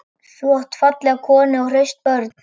Þú átt fallega konu og hraust börn.